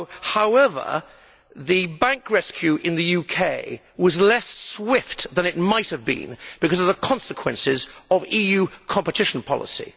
However, the bank rescue in the UK was less swift than it might have been because of the consequences of EU competition policy.